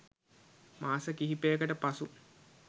මාස කීපයකට පසු